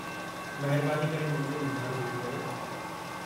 महिरबानी करे मुंहिंजो मूंझारो दूर कयो।